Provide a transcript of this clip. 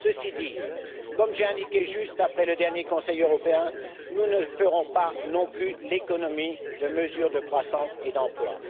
Ceci dit, comme je l'ai indiqué juste après le dernier Conseil européen, nous ne ferons pas non plus l'économie de mesures de croissance et d'emploi.